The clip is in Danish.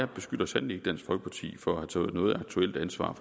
beskylder sandelig ikke dansk folkeparti for at have taget noget aktuelt ansvar